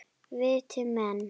Viti menn!